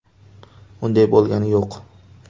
Unday bo‘lgani yo‘q.